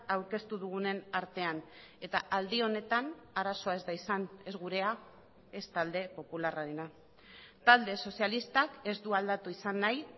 aurkeztu dugunen artean eta aldi honetan arazoa ez da izan ez gurea ez talde popularrarena talde sozialistak ez du aldatu izan nahi